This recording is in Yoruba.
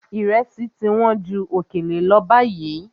Ìrẹsì ti wọ́n ju òkèlè lọ báyìí.